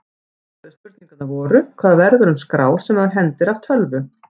Upphaflegu spurningarnar voru: Hvað verður um skrár sem maður hendir af tölvu?